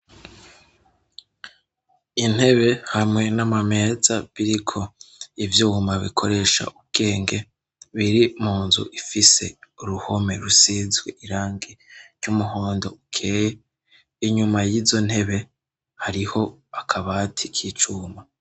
intebe hamwe n'amameza biriko ivyuma bikoresha ubwenge biri munzu ifise uruhome rusizwe irangi ry'umuhondo ukeye inyuma y'izo ntebe hariho akabati k'icuma